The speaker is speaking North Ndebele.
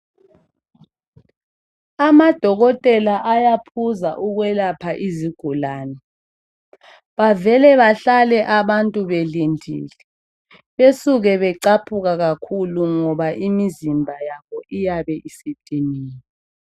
Amadokotela ayaphuza ukwelapha izigulane . Bavele bahlale abantu belindile. Basuka bacaphuke ngoba imizimba yabo iyabe isidiniwe.